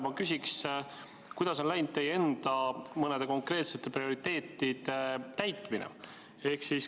Ma küsin, kuidas on läinud teie enda mõnede konkreetsete prioriteetide täitmine.